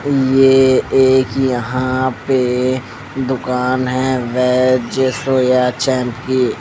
ये एक यहाँ पे दुकान है वैज सोया चैंप की --